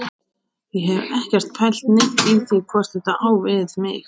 Ég hef ekkert pælt neitt í því hvort þetta á við mig.